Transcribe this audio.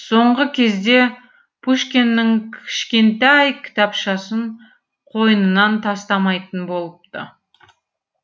соңғы кезде пушкиннің кішкентай кітапшасын қойнынан тастамайтын болыпты